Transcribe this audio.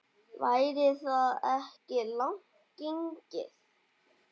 Væri það ekki langt gengið?